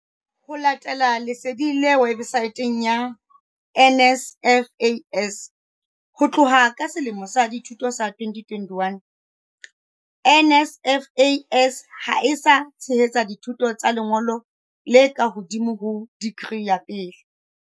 Ho latela lesedi le websaeteng ya NSFAS, ho tloha ka selemo sa dithuto sa 2021, NSFAS ha e sa tshehetsa dithuto tsa lengolo le ka hodimo ho dikri ya pele.